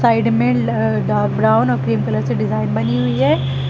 Side में ल dark brown और क्रीम कलर से डिजाइन बनी हुई है।